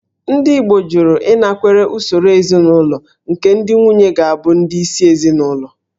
Ndị Igbo jụrụ ịnakwere usoro ezinaụlọ nke ndị nwunye ga-abụ ndị isi ezinụlọ